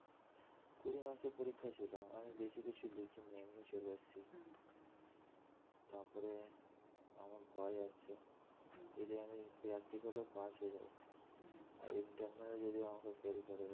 কুড়ি marks এর পরীক্ষা ছিল আমি বেশি কিছু লিখিনি এমনি চলে এসেছি তারপরে আমার ভয় আসছে যদি আমি practical এও পাস হয়ে যাই আর internal এ যদি আমায় fail করে দেয়